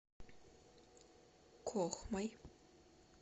кохмой